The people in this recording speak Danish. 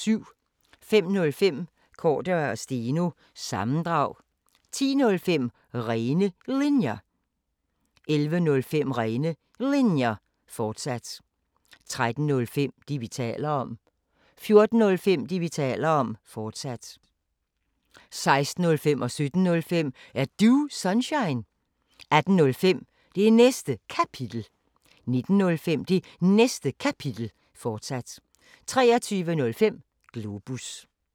05:05: Cordua & Steno – sammendrag 10:05: Rene Linjer 11:05: Rene Linjer, fortsat 13:05: Det, vi taler om 14:05: Det, vi taler om, fortsat 16:05: Er Du Sunshine? 17:05: Er Du Sunshine? 18:05: Det Næste Kapitel 19:05: Det Næste Kapitel, fortsat 23:05: Globus